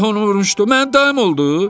Allah onu vurmuşdu, mənim dayım oldu?